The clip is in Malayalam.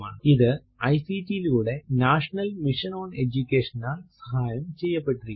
ഇത് ഐസിടി യിലൂടെ നാഷണൽ മിഷൻ ഓൺ എജുകേഷനാൽ സഹായം ചെയ്യപ്പെട്ടിരിക്കുന്നു